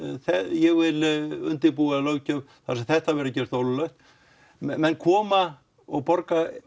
ég vil undirbúa löggjöf þar sem þetta verður gert ólöglegt menn koma og borga